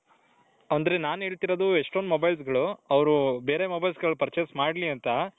ಅಂದ್ರೆ ನಾನ್ ಹೇಳ್ತಿರೋದು ಎಷ್ಟೊಂದ್ mobilesಗಳು ಅವರು ಬೇರೆ mobilesಗಳು purchase ಮಾಡ್ಲಿ ಅಂತ